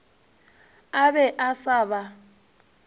a be a sa ba